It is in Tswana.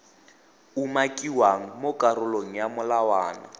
umakiwang mo karolong ya molawana